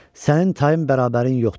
"Sənin tayın bərabərin yoxdur.